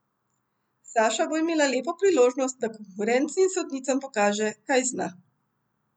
Saša bo imela lepo priložnost, da konkurenci in sodnicam pokaže, kaj zna.